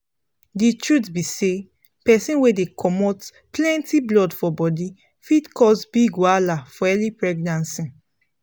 the truth be say persin wey dey comot plenty blood for body fit cause big wahala for early pregnancy